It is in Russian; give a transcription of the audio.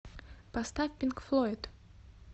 поставь пинк флойд